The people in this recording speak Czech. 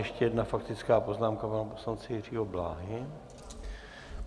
Ještě jedna faktická poznámka pana poslance Jiřího Bláhy.